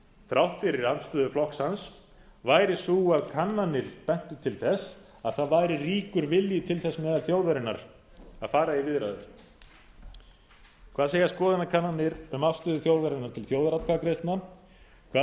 þrátt fyrir andstöðu flokks hans væri sú að kannanir bentu til þess að það væri ríkur vilji til þess meðal þjóðarinnar að fara í viðræður hvað segja skoðanakannanir um afstöðu þjóðarinnar til þjóðaratkvæðagreiðslna hvað